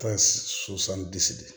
Taa de